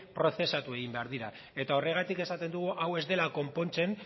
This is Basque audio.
prozesatu egin behar dira eta horregatik esaten dugu hau ez dela konpontzen